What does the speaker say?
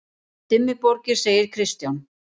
Um Dimmuborgir segir Kristján: